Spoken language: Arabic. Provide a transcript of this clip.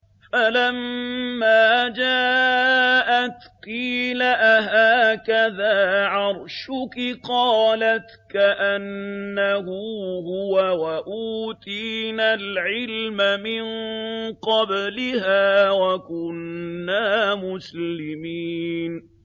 فَلَمَّا جَاءَتْ قِيلَ أَهَٰكَذَا عَرْشُكِ ۖ قَالَتْ كَأَنَّهُ هُوَ ۚ وَأُوتِينَا الْعِلْمَ مِن قَبْلِهَا وَكُنَّا مُسْلِمِينَ